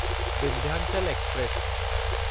Vindhyachal express